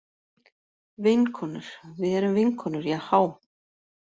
Vinkonur, við erum vinkonur Jahá.